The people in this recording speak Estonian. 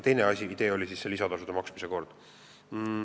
Teine idee oli lisatasude maksmine.